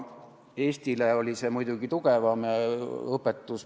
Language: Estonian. Eestile oli see muidugi tugevam õpetus.